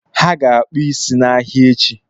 Ha ga-akpụ ịsị n’ahịa echi